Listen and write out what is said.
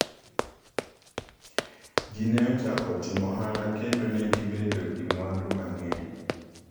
Ji ne ochako timo ohala kendo ne gibedo gi mwandu mang’eny.